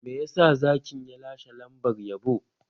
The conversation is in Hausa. Me yasa Zakin ya lashe lambar yabo?